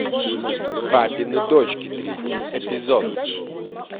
папины дочки третий эпизод